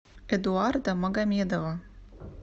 эдуарда магомедова